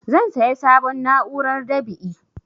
Zan saya sabon na'urar dab'i